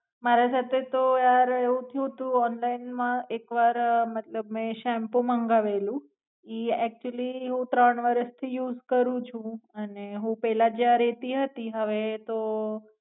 મારા સાથે તો અરે એવું થયું તું ઓનલાઈન મા એકવાર મતલબ મેં શેમ્પૂ મંગાવેલું ઈ અક્ટયુઅલી હું ત્રણ વરસ થી યુસ રું છું અને હું પેલા જ્યાં રેતી હતી હવે તો